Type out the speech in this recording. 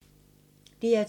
DR2